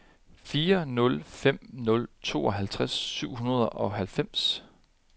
fire nul fem nul tooghalvtreds syv hundrede og halvfems